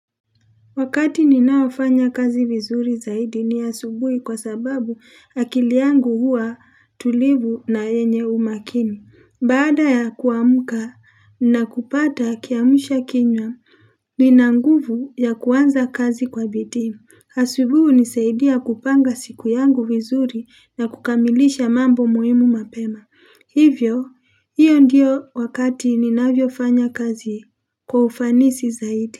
Wakati ninaofanya kazi vizuri zaidi ni asubuhi kwa sababu akili yangu huwa tulivu na yenye umakini. Baada ya kuamka na kupata kiamsha kinywa, nina nguvu ya kuanza kazi kwa bidii. Asubuhi hunisaidia kupanga siku yangu vizuri na kukamilisha mambo muhimu mapema. Hivyo, hiyo ndiyo wakati ninavyofanya kazi kwa ufanisi zaidi.